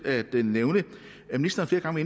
at nævne at ministeren flere gange